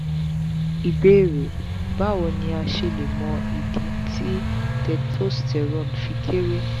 ìbéèrè: bawo ni a se le mọ idi ti testosterone fi kere?